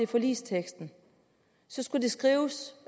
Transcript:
forligsteksten skulle det skrives